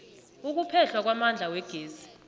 ukuphehlwa kwamandla wegezi